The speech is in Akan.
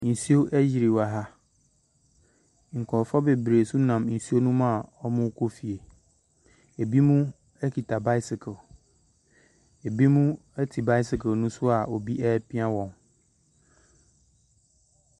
Nsuo ayiri wɔ ha. Nkurɔfoɔ bebree nso nam nsuo no mu a wɔrekɔ fie. Ebinom kita bicycle. Ebinom te bicycle no so a obi repia wɔn.